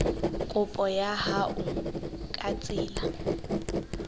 kopo ya hao ka tsela